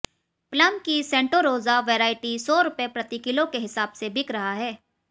plum की Santa Rosa variety सौ रुपए प्रति किलो के हिसाब से बिक रहा है